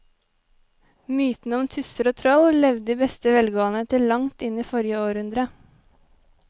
Mytene om tusser og troll levde i beste velgående til langt inn i forrige århundre.